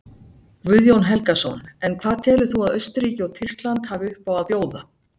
Guðjón Helgason: En hvað telur þú að Austurríki og Tyrkland hafi uppá að bjóða?